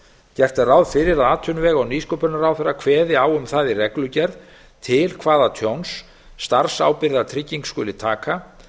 gert er ráð fyrir að atvinnuvega og nýsköpunarráðherra kveði á um það í reglugerð til hvaða tjóns starfsábyrgðartrygging skuli taka